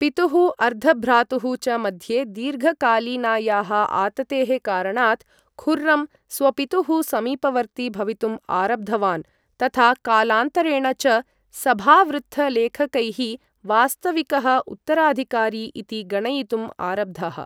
पितुः अर्धभ्रातुः च मध्ये दीर्घकालीनायाः आततेः कारणात्, खुर्रं स्वपितुः समीपवर्ती भवितुम् आरब्धवान्, तथा कालान्तरेण च सभावृत्तलेखकैः वास्तविकः उत्तराधिकारी इति गणयितुम् आरब्धः।